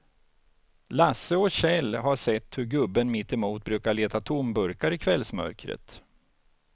Lasse och Kjell har sett hur gubben mittemot brukar leta tomburkar i kvällsmörkret.